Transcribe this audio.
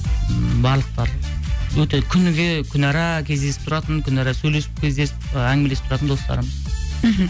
ммм барлықтары өте күніге күнара кездесіп тұратын күнара сөйлесіп кездесіп ы әңгімелесіп тұратын достарым мхм